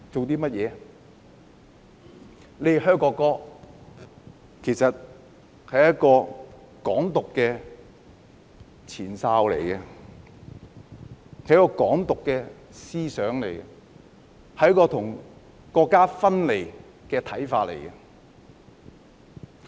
他們"噓"國歌，其實是"港獨"的前哨、"港獨"的思想、是要與國家分離的一種看法。